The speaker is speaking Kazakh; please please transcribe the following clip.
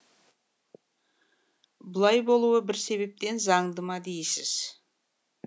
бұлай болуы бір себептен заңды ма дейсіз